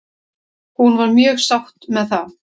Hún var mjög sátt með það.